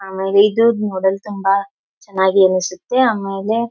ಆವಾಗ್ ಇದು ನೋಡಲು ತುಂಬಾ ಚನ್ನಾಗಿ ಅನ್ನಸುತ್ತೆ ಆಮೇಲೆ.